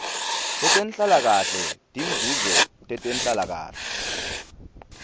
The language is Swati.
tetenhlalakahle tinzuzo tetenhlalakahle